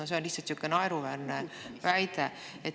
See on lihtsalt naeruväärne väide.